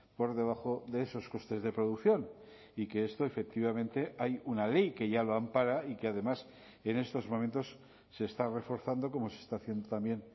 por debajo de esos costes de producción y que esto efectivamente hay una ley que ya lo ampara y que además en estos momentos se está reforzando como se está haciendo también